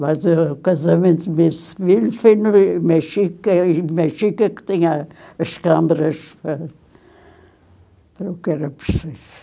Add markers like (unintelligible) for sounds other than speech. Mas ãh o casamento do meu (unintelligible) foi no eh Mexica, e o Mexica que tinha as câmaras para para o que era preciso.